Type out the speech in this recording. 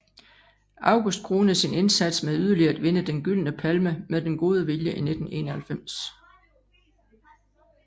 August kronede sin indsats med yderligere at vinde Den Gyldne Palme med Den Gode Vilje i 1991